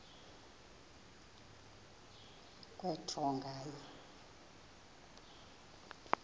kwe draw nganye